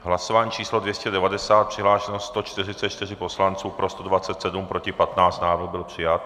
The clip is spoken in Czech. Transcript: Hlasování číslo 290, přihlášeno 144 poslanců, pro 127, proti 15, návrh byl přijat.